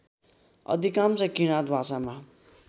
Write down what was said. अधिकांश किराँत भाषामा